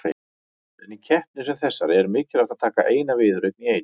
En í keppni sem þessari er mikilvægt að taka eina viðureign í einu.